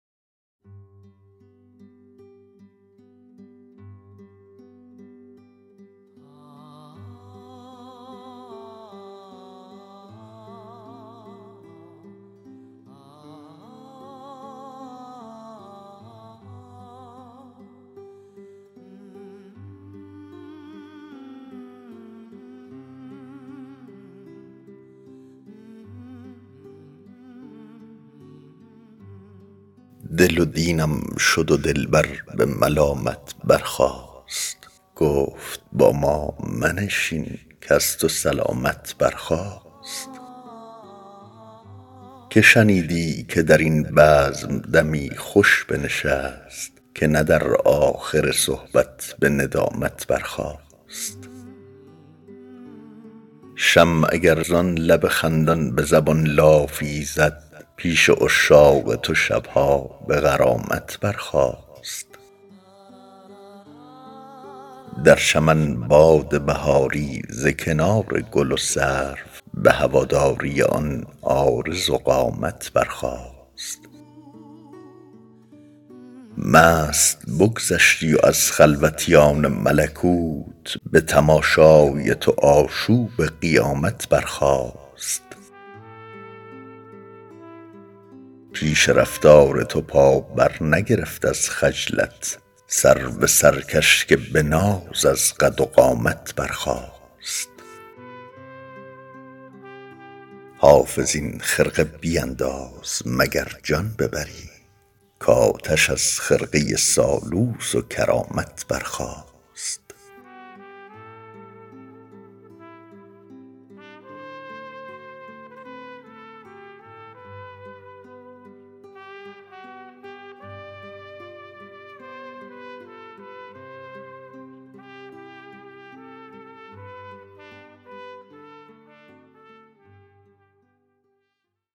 دل و دینم شد و دلبر به ملامت برخاست گفت با ما منشین کز تو سلامت برخاست که شنیدی که در این بزم دمی خوش بنشست که نه در آخر صحبت به ندامت برخاست شمع اگر زان لب خندان به زبان لافی زد پیش عشاق تو شب ها به غرامت برخاست در چمن باد بهاری ز کنار گل و سرو به هواداری آن عارض و قامت برخاست مست بگذشتی و از خلوتیان ملکوت به تماشای تو آشوب قیامت برخاست پیش رفتار تو پا برنگرفت از خجلت سرو سرکش که به ناز از قد و قامت برخاست حافظ این خرقه بینداز مگر جان ببری کآتش از خرقه سالوس و کرامت برخاست